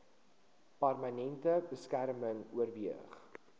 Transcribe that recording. permanente beskerming oorweeg